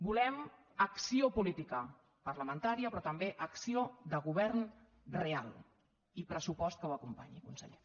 volem acció política parlamentària però també acció de govern real i pressupost que ho acompanyi conseller